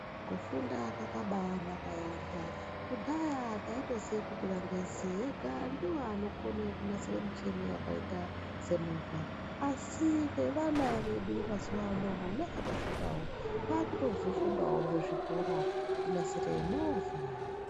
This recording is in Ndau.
Kufunda kwakabaanaka yaampho. Kudhaya taitoziye kuti vangezi vega ndivo vanokone kunasire michini yakaita semovha, asi nevana vedu mazuwaano vona vakasvipawo, vaakutozvifundawo muzvikora, kunasire movha.